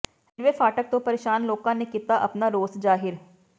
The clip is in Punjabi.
ਰੇਲਵੇ ਫਾਟਕ ਤੋਂ ਪ੍ਰੇਸ਼ਾਨ ਲੋਕਾਂ ਨੇ ਕੀਤਾ ਆਪਣਾ ਰੋਸ ਜ਼ਾਹਿਰ